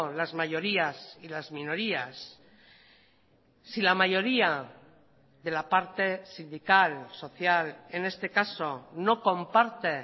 las mayorías y las minorías si la mayoría de la parte sindical social en este caso no comparte